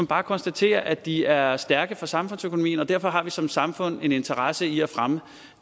bare konstatere at de er er stærke for samfundsøkonomien og derfor har vi som samfund en interesse i at fremme